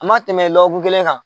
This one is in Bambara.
A ma tɛmɛ lɔkun kelen kan.